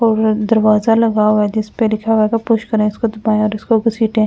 और दरवाजा लगा हुआ है जिस परे लिखा हुआ है पुश करें इसको दबाएं और इसको घसीटें।